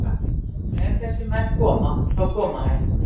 Ef þessir menn koma, þá koma þeir.